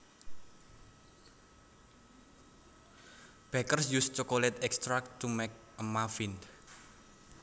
Bakers use chocolate extracts to make muffins